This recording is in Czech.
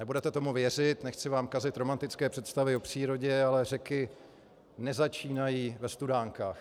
Nebudete tomu věřit, nechci vám kazit romantické představy o přírodě, ale řeky nezačínají ve studánkách.